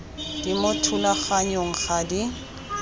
di mo thulaganyong ga di